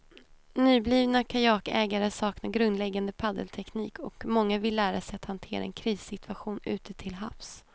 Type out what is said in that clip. Nyblivna kajakägare saknar grundläggande paddelteknik och många vill lära sig att hantera en krissituation ute till havs.